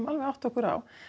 átta okkur á